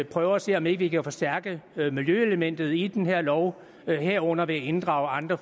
prøver at se om ikke vi kan forstærke miljøelementet i den her lov herunder ved at inddrage andre